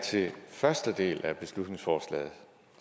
til den første del af beslutningsforslaget